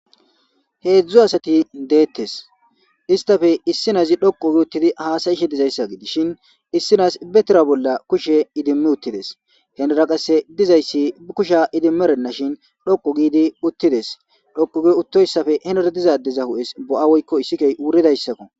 heedzdzu asati deettes istafe issinazi dhoqo gi uttidi haasayishe dizayssa gi dishin issinas betera bolla kushe idimmi uttides henera qasse dizayssi bi kusha idimmerenna shin dhoqo giidi uttides dhoqoge uttoyssafe hener dizadeza hu7es bo7a woykko issikey wuridayssakko